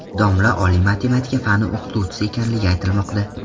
Domla oliy matematika fani o‘qituvchisi ekanligi aytilmoqda.